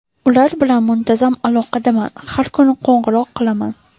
Ular bilan muntazam aloqadaman, har kuni qo‘ng‘iroq qilaman.